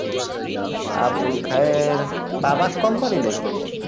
আবুল খায়ের তামাক company নাকি ভাই?